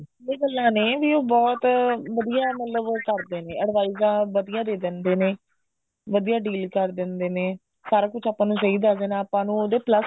ਕਈ ਗੱਲਾ ਨੇ ਵੀ ਉਹ ਬਹੁਤ ਵਧੀਆ ਮਤਲਬ ਉਹ ਕਰਦੇ ਨੇ advice ਤਾਂ ਵਧੀਆ ਦੇ ਦਿੰਦੇ ਨੇ ਵਧੀਆ deal ਕਰ ਦਿੰਦੇ ਨੇ ਸਾਰਾ ਕੁੱਝ ਆਪਾਂ ਨੂੰ ਸਹੀ ਦਸ ਦੇਣਾ ਆਪਾਂ ਨੂੰ ਉਹਦੇ plus